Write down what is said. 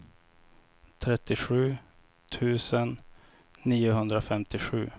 trettiosju tusen niohundrafemtiosju